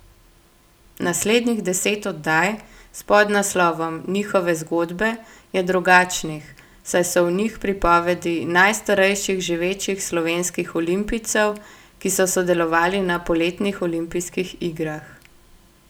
Naslednjih deset oddaj, s podnaslovom Njihove zgodbe, je drugačnih, saj so v njih pripovedi najstarejših živečih slovenskih olimpijcev, ki so sodelovali na poletnih olimpijskih igrah.